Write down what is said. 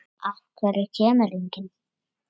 Af hverju kemur enginn?